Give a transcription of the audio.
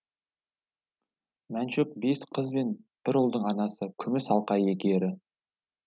мәншүк бес қыз бен бір ұлдың анасы күміс алқа иегері